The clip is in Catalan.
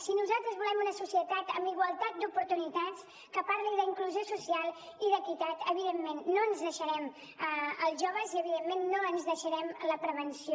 si nosaltres volem una societat amb igualtat d’oportunitats que parli d’inclusió social i d’equitat evidentment no ens deixarem els joves i evidentment no ens deixarem la prevenció